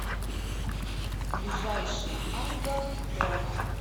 ближайший арго по